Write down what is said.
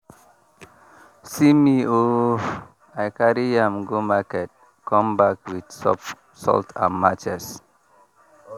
see me ooh i carry yam go market come back with soap salt and matches.